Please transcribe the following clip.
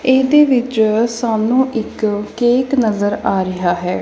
ਇਹਦੇ ਵਿੱਚ ਸਾਨੂੰ ਇੱਕ ਕੇਕ ਨਜ਼ਰ ਆ ਰਿਹਾ ਹੈ।